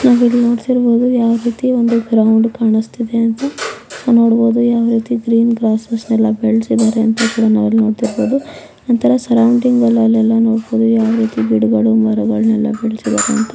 ನಾವು ಇಲ್ಲಿ ನೋಡುತ್ತಿರಬಹುದು ಯಾವ ರೀತಿ ಒಂದು ಗ್ರೌಂಡ್ ಕಾಣುಸ್ತಿದ್ದೆ ಅಂತ ನಾವು ನೋಡಬಹುದು ಯಾವ ರೀತಿ ಪ್ಲೇ ಕ್ಲಾಸಸ್ ನಡಿತಿದೆ ಎಲ್ಲ ಬೆಳೆಸಿದರೆ ಅಂತ ನಾವು ಕೂಡ ನೋಡಬಹುದು ಒಂತರ ಸರೌಂಡಿಂಗಲ್ಲೆಲ್ಲ ಯಾವ ರೀತಿ ಗಿಡಗಳು ಮರಗಳನ್ನು ಬೆಳೆಸಿದರೆ ಅಂತ--